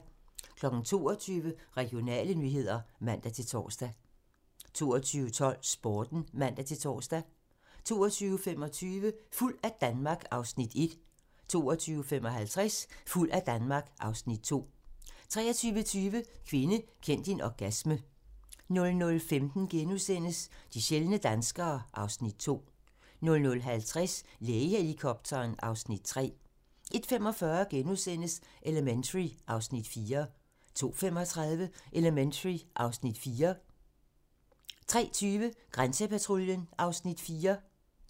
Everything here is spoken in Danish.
22:00: Regionale nyheder (man-tor) 22:12: Sporten (man-tor) 22:25: Fuld af Danmark (Afs. 1) 22:55: Fuld af Danmark (Afs. 2) 23:20: Kvinde, kend din orgasme 00:15: De sjældne danskere (Afs. 2)* 00:50: Lægehelikopteren (Afs. 3) 01:45: Elementary (Afs. 3)* 02:35: Elementary (Afs. 4) 03:20: Grænsepatruljen (Afs. 4)